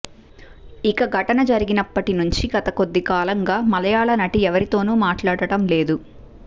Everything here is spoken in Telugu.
ఇక ఘటన జరిగినప్పటి నుంచి గత కొద్దికాలంగా మలయాళ నటి ఎవరితోనూ మాట్లాడటం లేదు